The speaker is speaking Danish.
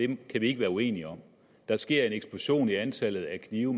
vi ikke være uenige om der sker en eksplosion i antallet af knive